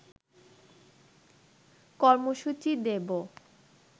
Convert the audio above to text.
কর্মসূচি দেব